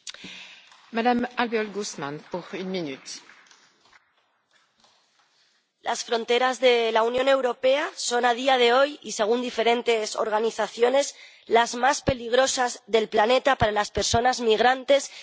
Señora presidenta, las fronteras de la Unión Europea son, a día de hoy y según diferentes organizaciones, las más peligrosas del planeta para las personas migrantes y demandantes de asilo.